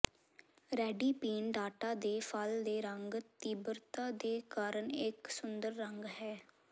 ready ਪੀਣ data ਦੇ ਫਲ ਦੇ ਰੰਗ ਤੀਬਰਤਾ ਦੇ ਕਾਰਨ ਇੱਕ ਸੁੰਦਰ ਰੰਗ ਹੈ